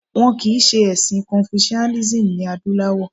Wọn kìí ṣe ẹ̀sìn Confucianism ní ilẹ̀ adúláwọ̀